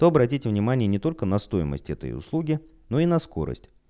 то обратите внимание не только на стоимость этой услуги но и на скорость